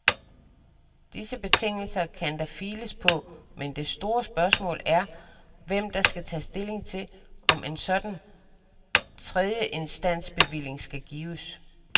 Disse betingelser kan der files på, men det store spørgsmål er, hvem der skal tage stilling til, om en sådan tredjeinstansbevilling skal gives.